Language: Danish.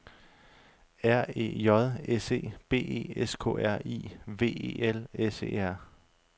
R E J S E B E S K R I V E L S E R